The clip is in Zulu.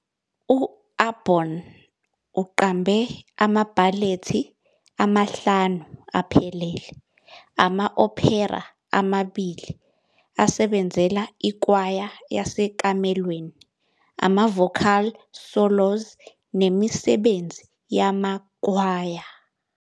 U-Aborn uqambe amabhalethi amahlanu aphelele, ama-opera amabili, asebenzela ikwaya yasekamelweni, ama-vocal solos nemisebenzi yamakhwaya.